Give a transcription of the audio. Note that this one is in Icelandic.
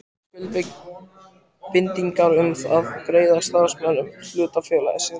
ekki til skuldbindingar um það að greiða starfsmönnum hlutafélagsins laun.